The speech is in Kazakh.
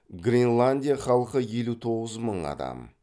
гренландия халқы елу тоғыз мың адам